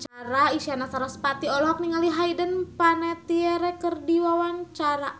Isyana Sarasvati olohok ningali Hayden Panettiere keur diwawancara